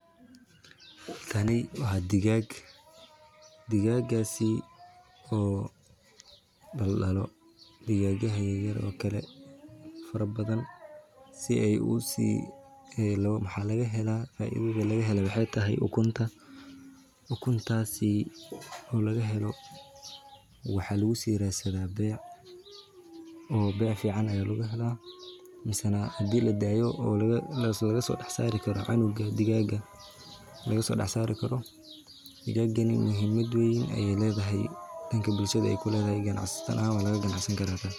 Kani waa digaag oo daldalo kuwa yaryar oo fara badan waxaa laga helaa ukunta oo laga helo waxa lagu radsadaa beec mise hadii ladaaya cunug laga soo dex saari karo mise ganacsi ayaa lagu sameyni karaa.